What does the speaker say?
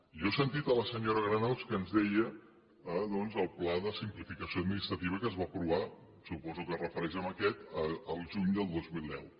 jo he sentit la senyora granados que ens deia doncs el pla de simplificació administrativa que es va aprovar suposo que es refereix a aquest el juny del dos mil deu